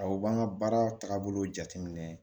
Awɔ u b'an ka baara taabolo jateminɛ